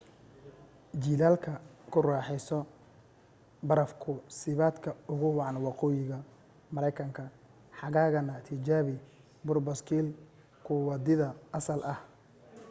jiilaalka ku raaxayso baraf ku siibadka ugu wacan waqooyiga maraykanka xagaagana tijaabi buur-baaskil ku wadiida asal ah